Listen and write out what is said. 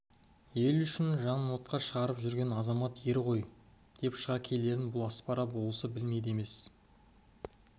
ел үшін жанын отқа шыжғырып жүрген азамат ер ғой деп шыға келерін бұл аспара болысы білмейді емес